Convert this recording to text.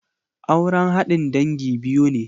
Aure haɗin dangi biyu ne.